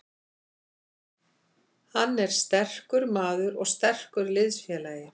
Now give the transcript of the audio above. Hann er sterkur maður og sterkur liðsfélagi.